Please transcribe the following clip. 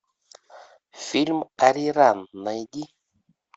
фильм ариран найди